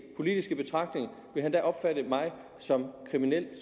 politiske betragtning da vil opfatte mig som kriminel